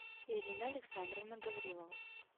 ирина александровна гаврилова